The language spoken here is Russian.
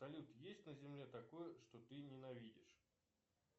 салют есть на земле такое что ты ненавидишь